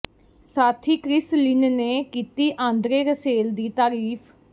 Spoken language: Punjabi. ਸਾਥੀ ਕ੍ਰਿਸ ਲਿਨ ਨੇ ਕੀਤੀ ਆਂਦਰੇ ਰਸੇਲ ਦੀ ਤਾਰੀਫ਼